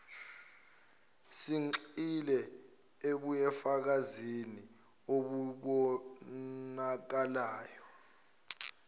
sigxile ebufakazini obubonakalayo